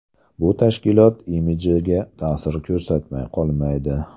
Bu tashkilot imidjiga ta’sir ko‘rsatmay qolmaydi.